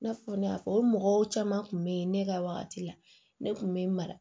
I n'a fɔ ne y'a fɔ o mɔgɔw caman kun bɛ ye ne ka wagati la ne kun bɛ n mara